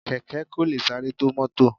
Kẹ̀kẹ́ kò lè sáré tó mọ́tọ̀.